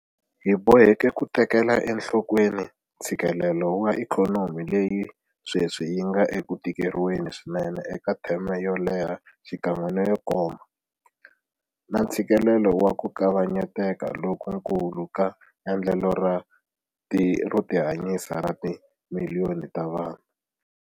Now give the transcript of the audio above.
Hi boheke ku tekela enhlokweni ntshikelelo wa ikhonomi leyi sweswi yi nga eku tikeriweni swinene eka theme yo leha xikan'we na yo koma, na ntshikelelo wa ku kavanyeteka lokukulu ka endlelo ro tihanyisa ra timiliyoni ta vanhu.